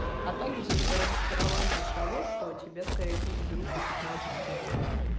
а также разочарование того что тебя скорее всего заберут на пятнадцать суток